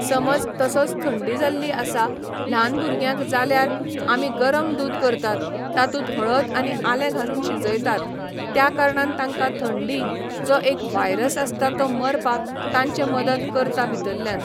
समज तसोच थंडी जाल्ली आसा, ल्हान भुरग्यांक जाल्यार आमी गरम दूद करतात, तातूंत हळद आनी आलें घालून शिजयतात, ज्या कारणान तांकां थंडी, जो एक वायरस आसता तो मरपाक तांचें मदत करता भितरल्यान